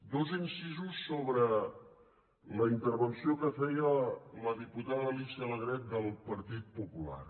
dos incisos sobre la intervenció que feia la diputada alicia alegret del partit popular